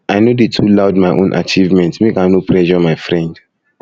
i no dey too loud my own achievement make i no pressure my friend